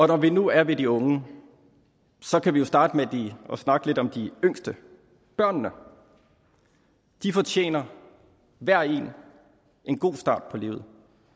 når vi nu er ved de unge kan vi jo starte med at snakke lidt om de yngste børnene de fortjener hver og en en god start på livet